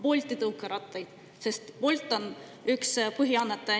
Bolti tõukerattaid, sest Bolt on üks põhiannetaja.